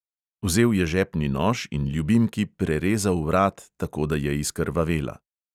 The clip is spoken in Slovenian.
Vzel je žepni nož in ljubimki prerezal vrat, tako da je izkrvavela.